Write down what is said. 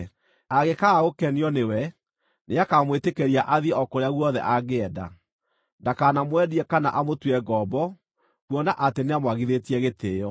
Angĩkaaga gũkenio nĩwe, nĩakamwĩtĩkĩria athiĩ o kũrĩa guothe angĩenda. Ndakanamwendie kana amũtue ngombo, kuona atĩ nĩamwagithĩtie gĩtĩĩo.